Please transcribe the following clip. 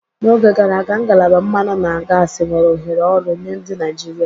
N'oge gara aga, ngalaba mmanụ na gasi nwere ohere ọrụ nye ndị Naijiria.